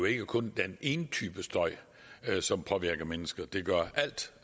ikke kun er en type støj som påvirker mennesker det gør